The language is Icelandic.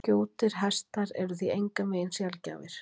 Skjóttir hestar eru því engan veginn sjaldgæfir.